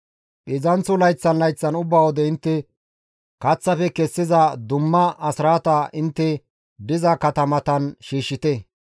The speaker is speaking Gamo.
Heedzdzanththo layththan layththan ubba wode intte kaththafe kessiza dumma asraata intte diza katamatan shiishshite.